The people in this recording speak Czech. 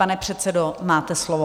Pane předsedo, máte slovo.